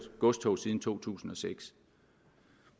godstog siden to tusind og seks